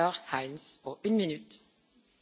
Frau Präsidentin, Frau Kommissarin!